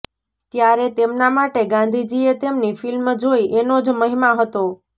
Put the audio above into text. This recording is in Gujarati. ત્યારે તેમના માટે ગાંધીજીએ તેમની ફિલ્મ જોઈ એનો જ મહિમા હતો